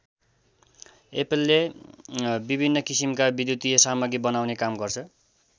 एप्पलले विभिन्न किसिमका विद्युतिय सामग्री बनाउने काम गर्छ।